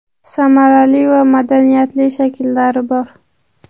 samarali va madaniyatli shakllari bor.